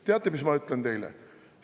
Teate, mis ma ütlen teile?